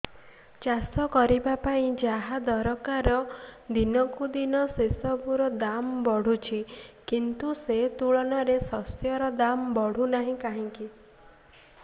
ଚାଷ କରିବା ପାଇଁ ଯାହା ଦରକାର ଦିନକୁ ଦିନ ସେସବୁ ର ଦାମ୍ ବଢୁଛି କିନ୍ତୁ ସେ ତୁଳନାରେ ଶସ୍ୟର ଦାମ୍ ବଢୁନାହିଁ କାହିଁକି